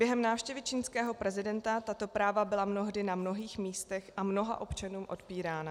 Během návštěvy čínského prezidenta tato práva byla mnohdy na mnohých místech a mnoha občanům odpírána.